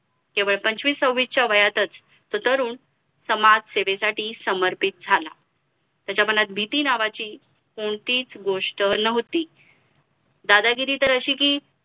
केवळ पंचवीस सव्वीस च्या वयातच तो तरुण समाज सेवेसाठी समर्पित झाला त्याच्या मनात भीती नावाची कोणतीच गोष्ट नव्हती दादागिरी तर अशी कि